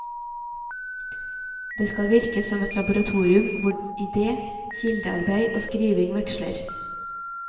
Det skal virke som et laboratorium hvor ide, kildearbeid og skriving veksler.